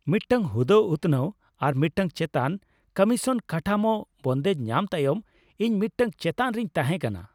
ᱢᱤᱫᱴᱟᱝ ᱦᱩᱫᱟᱹ ᱩᱛᱱᱟᱹᱣ ᱟᱨ ᱢᱤᱫᱴᱟᱝ ᱪᱮᱛᱟᱱ ᱠᱚᱢᱤᱥᱚᱱ ᱠᱟᱴᱷᱟᱢᱳ ᱵᱚᱱᱫᱮᱡ ᱧᱟᱢ ᱛᱟᱭᱚᱢ, ᱤᱧ ᱢᱤᱫᱴᱟᱝ ᱪᱮᱛᱟᱱ ᱨᱮᱧ ᱛᱟᱦᱮᱸ ᱠᱟᱱᱟ ᱾